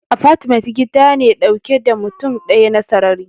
Apartment gida ne dauke da mutum daya na sarrari.